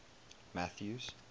mathews